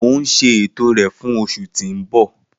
Mo n ṣe eto rẹ fun oṣu ti n bọ.